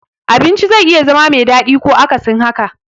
Abinci zai iya zama me daɗi ko akasin haka.